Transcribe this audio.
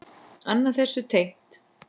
Annað þessu tengt.